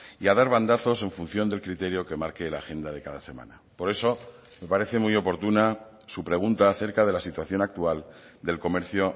y a dar bandazos en función del criterio que marque la agenda de cada semana por eso me parece muy oportuna su pregunta acerca de la situación actual del comercio